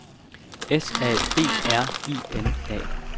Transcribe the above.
S A B R I N A